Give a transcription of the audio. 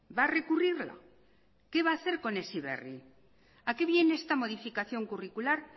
va a recurrirla qué va hacer con heziberri a qué viene esta modificación curricular